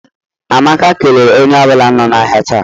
Amaka kelere onye ọ bụla nọ n'ahịa taa.